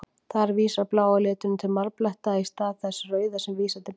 Þar vísar blái liturinn til marbletta, í stað þess rauða sem vísar til blóðs.